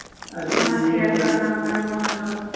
আমার পিয়ার টার number ও বন্ধ